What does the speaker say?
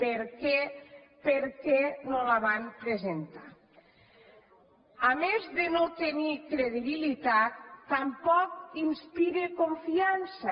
per què per què no la van presentar a més de no tenir credibilitat tampoc inspira confiança